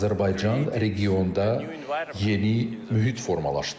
Azərbaycan regionda yeni mühit formalaşdırdı.